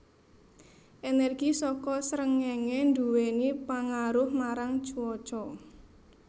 Energi saka srengéngé nduwèni pangaruh marang cuaca